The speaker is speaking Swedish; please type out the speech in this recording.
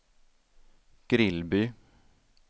Grillby